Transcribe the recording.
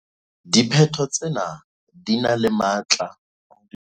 Diphetho tsena di na le bokgoni bo boholo ba ho ka matlafatsa karabelo ya sewa sena.